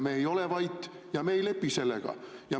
Me ei ole vait ja me ei lepi sellega.